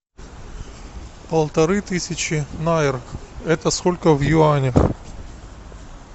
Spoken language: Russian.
полторы тысячи найр это сколько в юанях